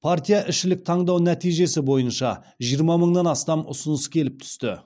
партияішілік таңдау нәтижесі бойынша жиырма мыңнан астам ұсыныс келіп түсті